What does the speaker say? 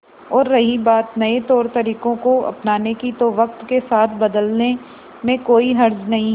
और रही बात नए तौरतरीकों को अपनाने की तो वक्त के साथ बदलने में कोई हर्ज नहीं